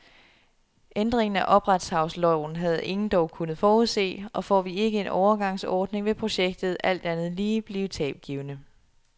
Ændringen af opretshavsloven havde ingen dog kunnet forudse, og får vi ikke en overgangsordning, vil projektet, alt andet lige, blive tabgivende.